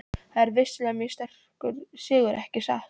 Þetta er vissulega mjög sterkur sigur, ekki satt?